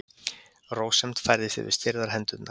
Rósemd færist yfir stirðar hendurnar.